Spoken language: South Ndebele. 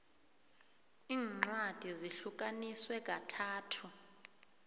incwadi zihlukaniswe kathathu